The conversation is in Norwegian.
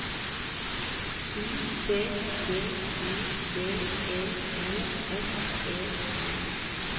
U T G I V E L S E R